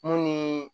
Mun ni